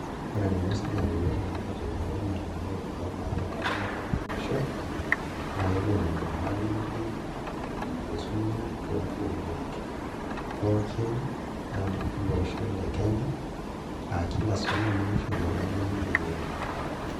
Ore enaiko sirkali pee etumoki aategelu irmalimuni oimark entemata olosho naa kepuo aing'oru ormalimui oisuma toompukunot pookin ele osho le Kenya aa kila sukuul nishoru ormalimui lenye obo.